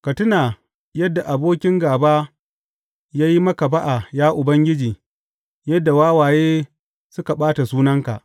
Ka tuna da yadda abokin gāba ya yi maka ba’a, ya Ubangiji, yadda wawaye suka ɓata sunanka.